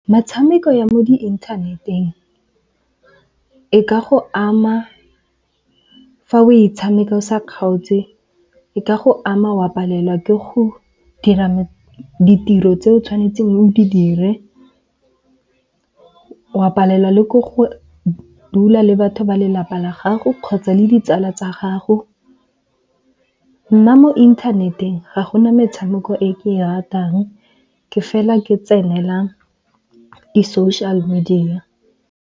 Metshameko ya mo di-inthaneteng e ka go ama fa o e tshameka o sa kgaotse. E ka go ama wa palelwa ke go dira ditiro tse o tshwanetseng o di dire. O a palelwa le ke go dula le batho ba lelapa la gago kgotsa le ditsala tsa gago. Nna mo inthaneteng ga gona metshameko e ke e ratang, ke fela ke tsenela di-social-media.